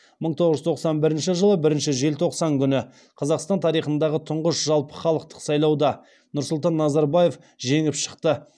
мың тоғыз жүз тоқсан бірінші жылы бірінші желтоқсан күні қазақстан тарихындағы тұңғыш жалпы халықтық сайлауда нұрсұлтан назарбаев жеңіп шықты